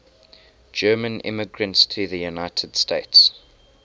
german immigrants to the united states